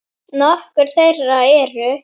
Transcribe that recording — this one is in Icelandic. Nokkur þeirra eru